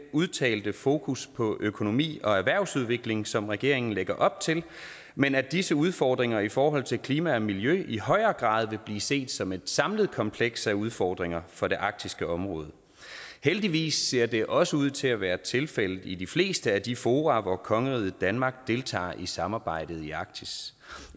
udtalte fokus på økonomi og erhvervsudvikling som regeringen lægger op til men at disse udfordringer i forhold til klima og miljø i højere grad vil blive set som et samlet kompleks af udfordringer for det arktiske område heldigvis ser det også ud til at være tilfældet i de fleste af de fora hvor kongeriget danmark deltager i samarbejdet i arktis